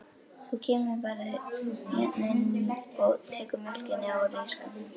Þú bara kemur hérna inn og tekur mjólkina úr ísskápnum.